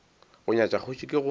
go nyatša kgoši ke go